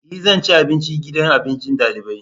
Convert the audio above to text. E! Zan ci abinci a gidan abincin dalibai.